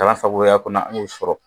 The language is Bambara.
sagoya kɔnɔ an y'o sɔrɔ.